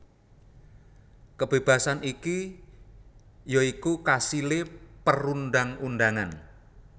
Kebébasan iki ya iku kasilé perundang undangan